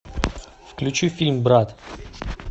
включи фильм брат